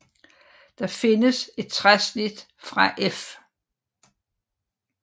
Der findes et træsnit fra F